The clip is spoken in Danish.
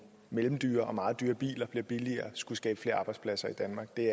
mellemdyre og meget dyre biler bliver billigere skulle skabe flere arbejdspladser i danmark det